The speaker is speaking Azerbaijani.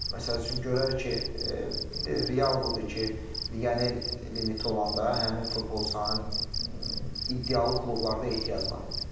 Məsəl üçün, görər ki, indi real budur ki, legioner limiti olanda həmin futbolçuların iddialı klublarda ehtiyac var idi.